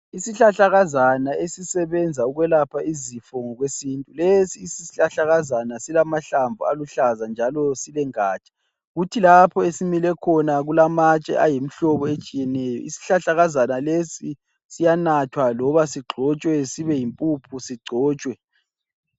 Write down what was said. Isihlahlakazana esisebenza ukwelapha izifo ngokwesintu. Lesi isihlahlakazana silamahlamvu aluhlaza njalo silengatsha. Kuthi lapho esimile khona kulamatshe ayimihlobo etshiyeneyo. Isihlahlakazana lesi siyanathwa loba sigxotshwe sibe yimpuphu sigcotshwe.